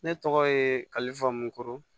Ne tɔgɔ ye kalifa moto